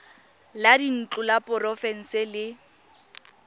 la dintlo la porofense le